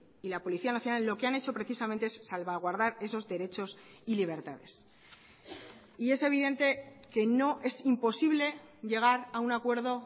y la policía nacional lo que han hecho precisamente es salvaguardar esos derechos y libertades y es evidente que no es imposible llegar a un acuerdo